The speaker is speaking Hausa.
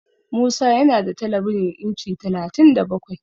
Musa yana da telebijin inci talatin da bakwai.